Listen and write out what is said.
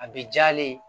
A bɛ jalen